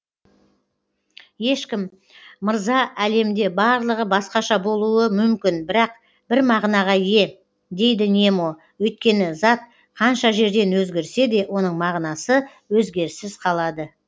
ешкім мырза әлемде барлығы басқаша болуы мүмкін бірақ бір мағынаға ие дейді немо өйткені зат қанша жерден өзгерсе де оның мағынасы өзгеріссіз қалады